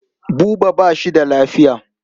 Buba ba shi da lafiya.